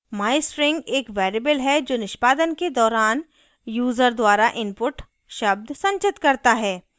mystring एक variable है जो निष्पादन के दौरान यूज़र द्वारा input शब्द संचित करता है